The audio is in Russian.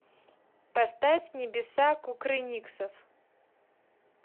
поставь небеса кукрыниксов